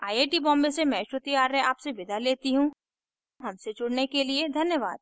आई IT Bombay से मैं श्रुति आर्य आपसे विदा लेती हूँ हमसे जुड़ने के लिए धन्यवाद